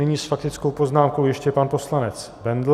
Nyní s faktickou poznámkou ještě pan poslanec Bendl.